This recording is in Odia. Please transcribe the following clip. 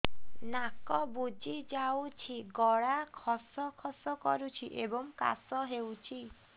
ନାକ ବୁଜି ଯାଉଛି ଗଳା ଖସ ଖସ କରୁଛି ଏବଂ କାଶ ହେଉଛି